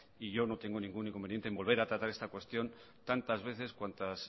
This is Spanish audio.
yo no tengo ningún inconveniente en volver a tratar esta cuestión tantas veces cuantas